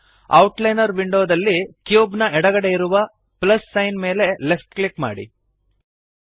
outliner ವಿಂಡೋನಲ್ಲಿ cube ನ ಎಡಗಡೆ ಇರುವ ಪ್ಲಸ್ ಸೈನ್ ಮೇಲೆ ಲೆಫ್ಟ್ ಕ್ಲಿಕ್ ಮಾಡಿರಿ